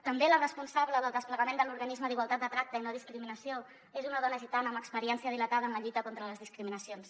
també la responsable del desplegament de l’organisme de la igualtat de tracte i no discriminació és una dona gitana amb experiència dilatada en la lluita contra les discriminacions